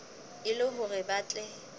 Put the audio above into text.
e le hore ba tle